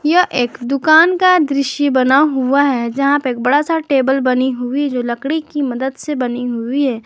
यह एक दुकान का दृश्य बना हुआ है जहां पे एक बड़ा सा टेबल बनी हुई जो लकड़ी की मदद से बनी हुई है।